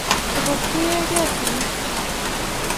Togo tiegei sigik chik